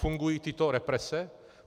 Fungují tyto represe?